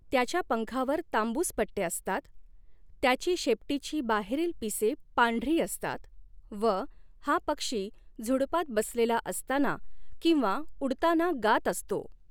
त्याच्या पंखावर तांबूस पट॒टे असतात त्याची शेपटीची बाहेरील पिसे पंढरी असतात व हा पक्षी झुडपांत बसलेला असताना किंव्हा उडताना गात असतो.